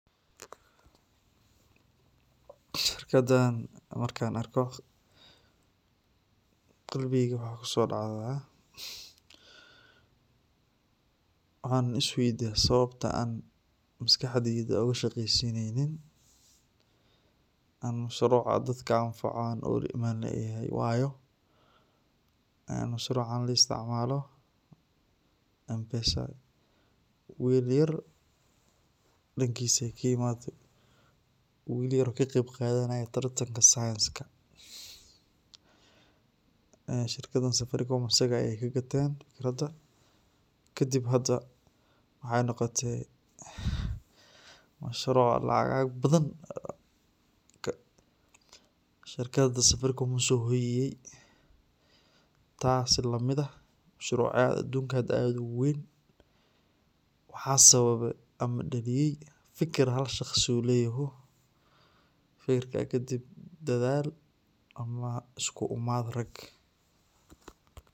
Shirkadaan marka an arko qalbigay waxa kusodacda waxan is waydiya sababta an maskaxdaeyda an ushaqeysinaynin oo soloc oo dadka anfaco oo ulaimanaynlayahy wayo soloc an laisticmalo M-pesa. Will yaar dankisa ay ki imaade will yar kaqeyb qadhanaye tartanka scienceka. Shirkadan Safaricom asaga ay kaqateen kadib hada waxay noqote bacsharo oo lacag aad ubadhan shirkada safaricom usohoyiyay taas lamid ah shuruc yahay adunka uwaweyn waxa sababe am daliyay fakir halshagsi u layho fakir kaa kadib dadhaal ama isku imaad rag.